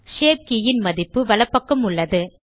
shape கே ன் மதிப்பு வலப்பக்கம் உள்ளது